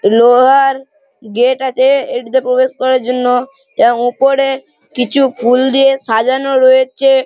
লোহার গেট আছে এটিতে প্রবেশ করার জন্য। ওপরে কিছু ফুল দিয়ে সাজানো রয়েছে।